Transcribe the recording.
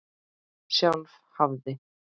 Sjálf hafði